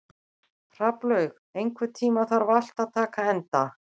Hrafnlaug, einhvern tímann þarf allt að taka enda.